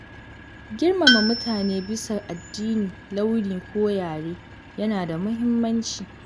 Girmama mutane bisa addini, launi ko yare yana da muhimmanci.